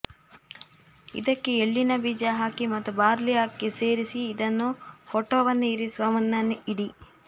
ಇದಕ್ಕೆ ಎಳ್ಳಿನ ಬೀಜ ಹಾಕಿ ಮತ್ತು ಬಾರ್ಲಿ ಅಕ್ಕಿ ಸೇರಿಸಿ ಇದನ್ನು ಫೋಟೋವನ್ನು ಇರಿಸುವ ಮುನ್ನ ಇಡಿ